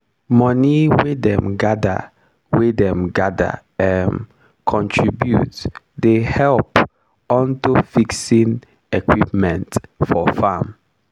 moni wey dem gather wey dem gather um contribute dey help unto fixing equipment for farm.